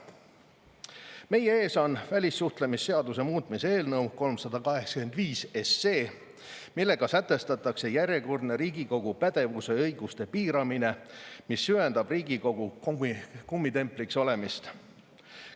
Meie ees on välissuhtlemisseaduse muutmise eelnõu 385, millega sätestatakse järjekordne riigikogu pädevuse ja õiguste piiramine, mis süvendab Riigikogu kummitempliks olemist.